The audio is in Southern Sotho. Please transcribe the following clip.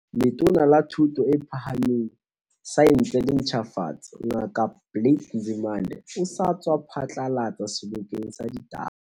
Letona la Thuto e Phahameng, Saense le Ntjhafatso, Ngaka Blade Nzimande, o sa tswa phatlalatsa sebokeng sa ditaba.